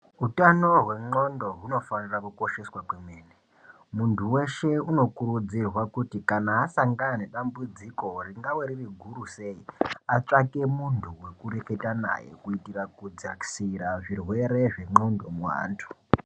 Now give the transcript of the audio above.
Utano hwendxondo hunofanira kukosheswa kwemene. Munhu weshe unokurudzirwa kuti kana asangana nedambudziko ringave ririguri sei atsvake munhu wekutaura naye kuitire kudzakisira zvirwere zvendxondo muantu.